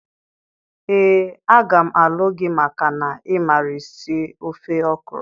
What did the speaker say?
Ee, a ga m alu gi maka na imara esi ofe okro.